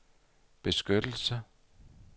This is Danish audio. beskyttelse